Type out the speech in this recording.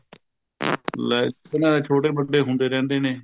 ਲੈ ਇੱਕ ਨਾ ਛੋਟੇ ਵੱਡੇ ਹੁੰਦੇ ਰਹਿੰਦੇ ਨੇ